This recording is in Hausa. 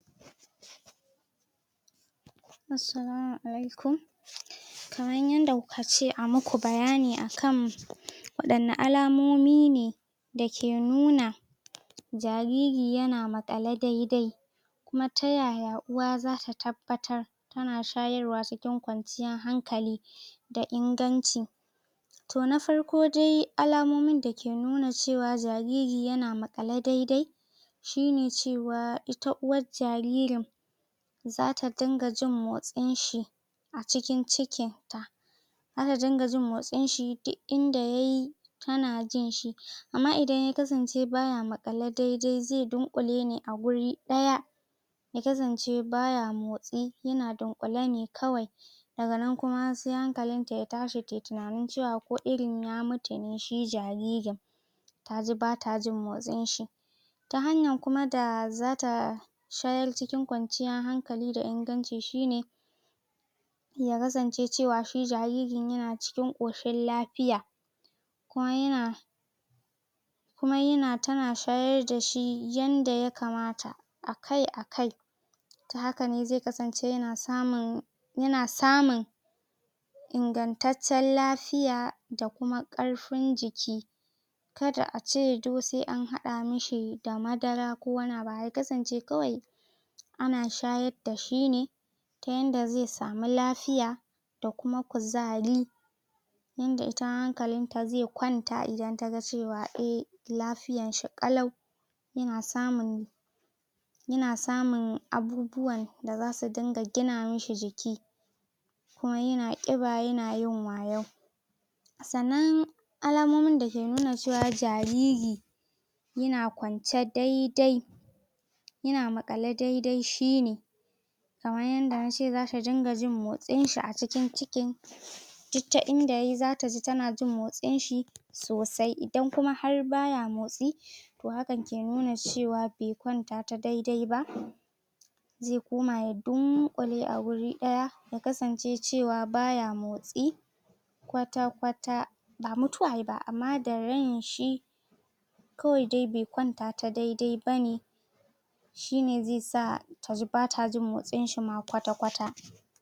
? Assalama Alaikum.? Kamar yadda kuka ce a muku bayani a kam,? wadanne alamomi ne,? dake nuna,? jariri yana maƙale daidai?? Kuma ta yaya uwa zata tabbatar? tana shayarwa cikin kwanciyar hankali,? da inganci.? To na farko dai, alamomin da ke nuna cewa jariri ya na maƙale dai-dai,? shi ne cewa ita uwar jaririn, zata dinga jin motsin shi,? a cikin cikin ta.? Zata riƙa jin motsin shi duk inda yayi, tana jin shi.? Amma idan ya kasance baya maƙale dai-dai zai, dunƙule ne a wuri ɗaya,? ya kasance baya motsi, yana dunƙule ne kawai.? Daganan kuma sai hankalinta ya tashi, tayi tunani cewa, ko irin ya mutu ne shi jaririn,? taji bata jin motsin shi.? Ta hanyar kuma da zata,? shayar cikin kwanciyar hankali da inganci shi ne,? ya kasance cewa shi jaririn yana cikin, koshin lafiya.? Kuma yana,? kuma yana, tana shayar dashi yadda ya kamata,? a kai a kai.? Tahaka ne zai kasance yana samun,? yana samun,? ingantaccen lafiyaa, da kuma karfin jiki.? Kada a ce do sai an hada mishi da madara ko wani abu, ya kasance kawai,? ana shayar da shi ne,? ta yadda zai samu lafiya,? da kuma kuzari.? Yadda itama hankalinta zai kwanta idan taga cewa eh, lafiyan shi ƙalau.? Yana samun,? yana samun abubuwan da zasu dinga gina mishi jiki.? Kuma yana kiba yanayin wayau.? Sannan,? alamomin da ke nuna cewa jariri,? yana kwance dai-dai,? yana maƙale dai-dai shine,? kamar yadda nace zata ringa jin motsin shi a cikin cikin,? duk ta inda yayi zata ji tana jin motsin shi sosai. Idan kuma har baya motsi,? to hakan ke nuna cewa bai kwanta ta dai-dai ba,? zai kuma ya dunƙule a wuri daya, ya kasance cewa baya motsi,? kwata-kwata.? Ba mutuwa yayi ba, ammah da rain shi? kawai dai bai kwanta ta dai-dai bane,? shine zai sa taji bata jin motsin shi kwata-kwata.